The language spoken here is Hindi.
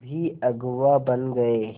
भी अगुवा बन गए